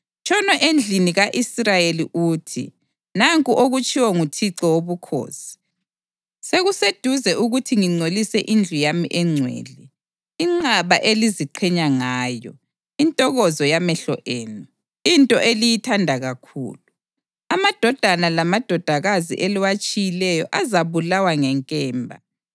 Tshono endlini ka-Israyeli uthi, ‘Nanku okutshiwo nguThixo Wobukhosi: Sekuseduze ukuthi ngingcolise indlu yami engcwele, inqaba eliziqhenya ngayo, intokozo yamehlo enu, into eliyithanda kakhulu. Amadodana lamadodakazi eliwatshiyileyo azabulawa ngenkemba.